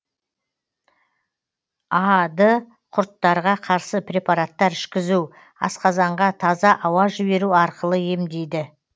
а ды құрттарға қарсы препараттар ішкізу асқазанға таза ауа жіберу арқылы емдейді